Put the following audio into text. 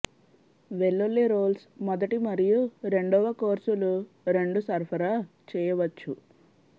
వెల్లుల్లి రోల్స్ మొదటి మరియు రెండవ కోర్సులు రెండు సరఫరా చేయవచ్చు